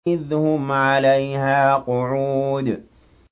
إِذْ هُمْ عَلَيْهَا قُعُودٌ